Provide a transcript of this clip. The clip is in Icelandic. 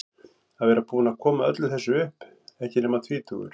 Að vera búinn að koma öllu þessu upp, ekki nema tvítugur.